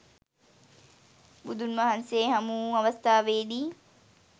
බුදුන් වහන්සේ හමු වූ අවස්ථාවේ දී